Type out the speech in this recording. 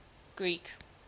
greek